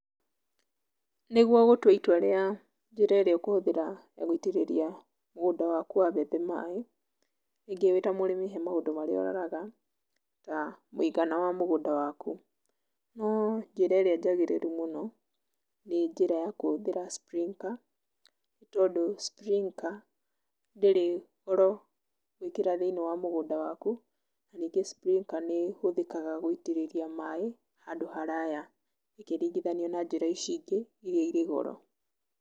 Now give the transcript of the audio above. Nĩguo gũtua itua rĩa njĩra ĩrĩa ũkũhũthĩra gũitĩrĩria mũgũnda waku wa mbembe maĩ, wĩta mũrĩmi he maũndũ marĩa ũroraga na ũgana wa mũgũnda waku. No njĩra ĩrĩa njagĩrĩru mũno nĩ njĩra ya kũhũthĩra sprinker tondũ sprinker ndĩrĩ goro gwĩkĩra thĩiniĩ wa mũgũnda waku, ningĩ sprinker nĩ ĩhuthĩkaga gũitĩrĩria maĩ handũ haraya ĩkĩringithanio na njĩra ici ingĩ iria irĩ goro.